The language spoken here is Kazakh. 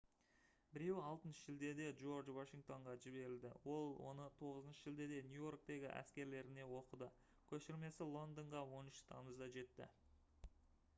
біреуі 6 шілдеде джордж вашингтонға жіберілді ол оны 9 шілдеде нью-йорктегі әскерлеріне оқыды көшірмесі лондонға 10 тамызда жетті